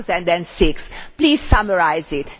2006? Please summarise it.